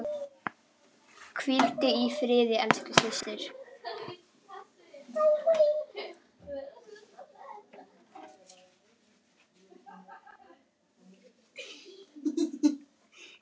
Hvíldu í friði elsku systir.